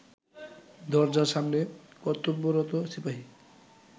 দরজার সামনে কর্তব্যরত সিপাহি